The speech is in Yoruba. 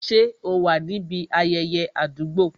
Ṣé o wà níbi ayẹyẹ àdúgbò?